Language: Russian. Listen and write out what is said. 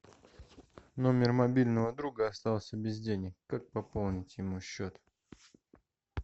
номер мобильного друга остался без денег как пополнить ему счет